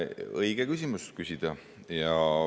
Õige küsimus küsida.